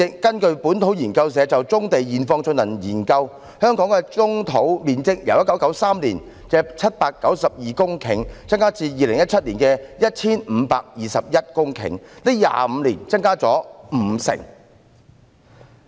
根據本土研究社就棕地現況進行的研究，香港棕地的面積由1993年的792公頃增加至2017年的 1,521 公頃 ，25 年來增加了五成。